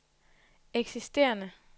eksisterende